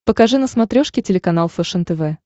покажи на смотрешке телеканал фэшен тв